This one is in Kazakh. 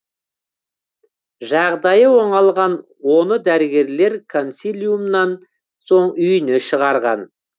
жағдайы оңалған оны дәрігерлер консилиумнан соң үйіне шығарған